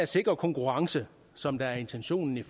sikre konkurrence som er intentionen i